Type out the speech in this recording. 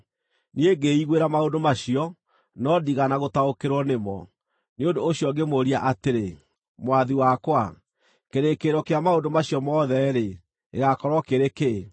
Niĩ ngĩĩiguĩra maũndũ macio, no ndiigana gũtaũkĩrwo nĩ mo. Nĩ ũndũ ũcio ngĩmũũria atĩrĩ, “Mwathi wakwa, kĩrĩkĩrĩro kĩa maũndũ macio mothe-rĩ, gĩgaakorwo kĩrĩ kĩĩ?”